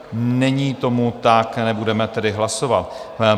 Není tomu tak, nebudeme tedy hlasovat.